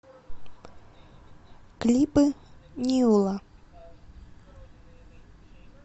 клипы нила